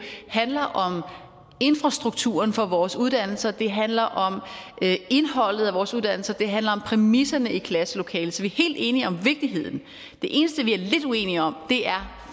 handler om infrastrukturen for vores uddannelser det handler om indholdet af vores uddannelser og det handler om præmisserne i klasselokalet så vi er helt enige om vigtigheden det eneste vi er lidt uenige om er